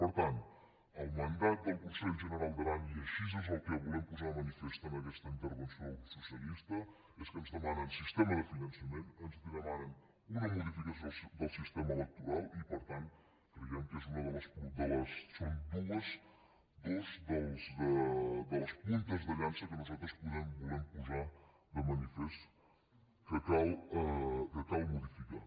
per tant el mandat del consell general d’aran i això és el que volem posar de manifest en aquesta intervenció el grup socialista és que ens demanen sistema de finançament ens demanen una modificació del sistema electoral i per tant creiem que són dues de les puntes de llança que nosaltres volem posar de manifest que cal modificar